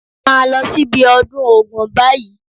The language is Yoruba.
Máa lọ sí ibi ọdún Ògún báyìí